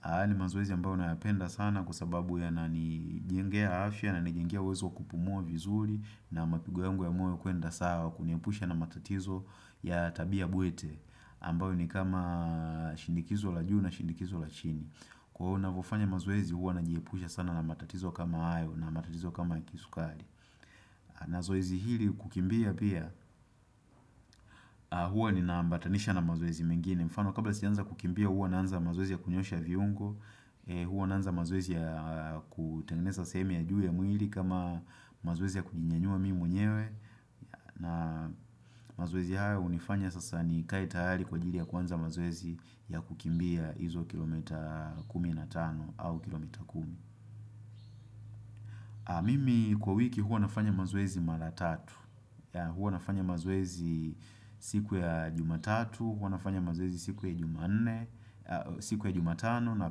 Haya ni mazoezi ambao nayapenda sana kwa sababu yananijengea afya na yanijengea uwezo kupumua vizuri na mapigo yangu ya moyo kuenda sawa kuniepusha na matatizo ya tabia bwete. Ambao ni kama shinikizo la juu na shinikizo la chini. Kwa huo navofanya mazoezi huwa najiepusha sana na matatizo kama hayo na matatizo kama ya kisukari na zoezi hili kukimbia pia huwa nina ambatanisha na mazoezi mengine mfano kabla sijaanza kukimbia huwa naanza mazoezi ya kunyoosha viungo Huwa naanza mazoezi ya kutengeneza sehemu ya juu ya mwili kama mazoezi ya kujinyanyua mimi mwenyewe na mazoezi haya hunifanya sasa nikae tayari kwa ajili ya kuanza mazoezi ya kukimbia izo kilomita kumi na tano au kilomita kumi Mimi kwa wiki huwa nafanya mazoezi mara tatu Huwa nafanya mazoezi siku ya jumatatu, huwa nafanya mazoezi siku ya jumanne siku ya jumatano na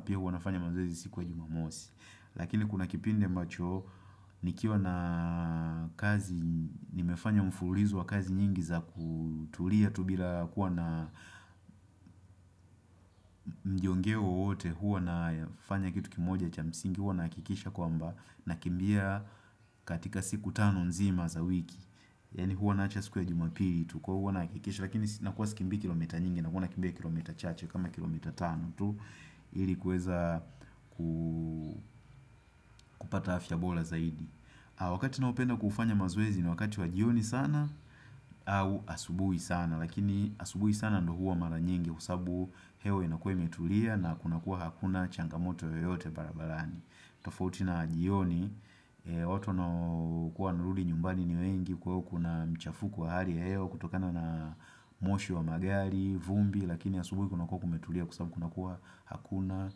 pia huwa nafanya mazoezi siku ya jumamosi Lakini kuna kipindi ambacho nikiwa na kazi nimefanya mfululizo wa kazi nyingi za kutulia tu bila kuwa na mjiongeo wote huwa nafanya kitu kimoja cha msingi huwa na hakikisha kwamba nakimbia katika siku tano nzima za wiki Yani huwa naacha siku ya jumapili tu kwa huwa nahakikisha Lakini nakuwa sikimbii kilomita nyingi nakuwa kimbia kilomita chache kama kilomita tano tu ilikuweza kupata afya bora zaidi Wakati naopenda kufanya mazoezi ni wakati wa jioni sana au asubuhi sana Lakini asubuhi sana ndio huwa mara nyingi Kwa sababu hewa inakuwa imetulia na kuna kuwa hakuna changamoto yoyote barabarani tofauti na jioni watu wanaokuwa wanarudi nyumbani ni wengi kwa kuna mchafuko wa hali ya hewa kutokana na moshi wa magari, vumbi lakini ya asubuhi kuna kuwa kumetulia kwa sababu kuna kuwa hakuna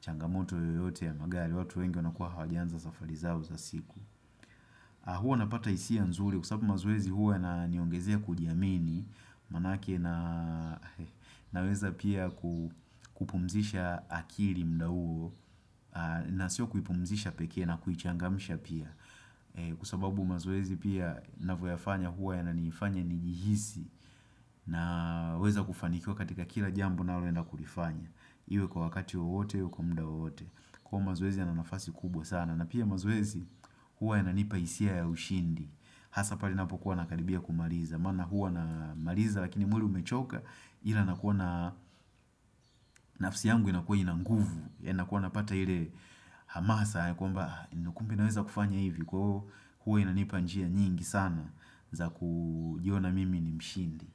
changamoto yoyote ya magari, watu wengi wanakua hawajanza safari zao za siku huwa napata hisia nzuri kwa sababu mazoezi huwa yananiongezea kujiamini maanake naweza pia kupumzisha akili muda huo na sio kupumzisha peke na kuichangamsha pia Kwa sababu mazoezi pia navyoyafanya huwa yananifanya nijihisi Naweza kufanikiwa katika kila jambo naloenda kulifanya iwe kwa wakati wowote au kwa muda wowote kuwa mazoezi yana nafasi kubwa sana na pia mazoezi huwa yananipa hisia ya ushindi Hasa pale napokuwa nakaribia kumaliza maana huwa namaliza lakini mwili umechoka Ila nakuwa na nafsi yangu inakuwa ina nguvu yanakuwa napata ile hamasa ya kwamba kumbe naweza kufanya hivi Kwa hio huwa inanipa njia nyingi sana za kujiona mimi ni mshindi.